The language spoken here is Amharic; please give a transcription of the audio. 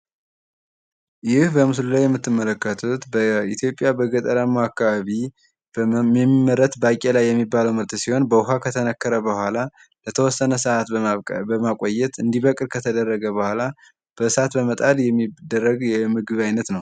ይህ በምስሉ ላይ የምትመለከቱት በኢትዮጵያ በገጠራማ አካባቢ በመመረት ባቄላ የሚባለው ምርት ሲሆን በውሃ ከተነሰከረ በኋላ ለተወሰነ ሰአት በማብቀል በማቆየት እንዲደርቅ ከተደረገ በኋላ በእሳት በመጣድ የሚደረግ የምግብ አይነት ነው።